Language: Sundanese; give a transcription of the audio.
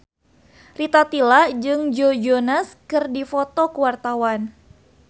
Rita Tila jeung Joe Jonas keur dipoto ku wartawan